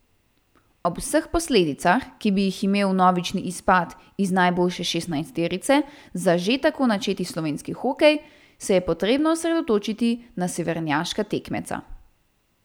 Ob vseh posledicah, ki bi jih imel vnovični izpad iz najboljše šestnajsterice za že tako načeti slovenski hokej, se je potrebno osredotočiti na severnjaška tekmeca.